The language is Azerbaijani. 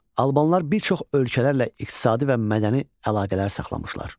Albanlar bir çox ölkələrlə iqtisadi və mədəni əlaqələr saxlamışlar.